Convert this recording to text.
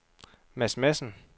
Mads Madsen